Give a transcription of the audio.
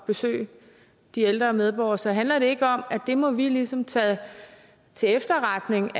besøge de ældre medborgere så handler det ikke om at det må vi ligesom tage til efterretning